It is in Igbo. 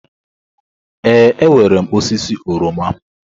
Ee, enwere m osisi oroma.